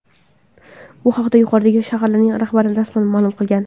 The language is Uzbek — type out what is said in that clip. Bu haqda yuqoridagi shaharlarning rahbarlari rasman ma’lum qilgan .